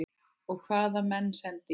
Og hvaða menn sendi ég?